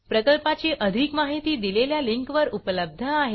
प्रकल्पाची अधिक माहिती दिलेल्या लिंकवर उपलब्ध आहे